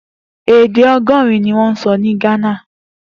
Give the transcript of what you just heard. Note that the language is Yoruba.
Èdè ọgọrin niwọn sọ ni Ghana